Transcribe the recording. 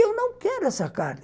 Eu não quero essa carne.